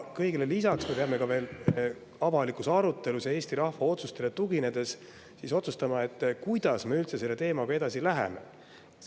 Kõigele lisaks peame avalikus arutelus ja Eesti rahva otsustele tuginedes otsustama, kuidas me üldse selle teemaga edasi läheme.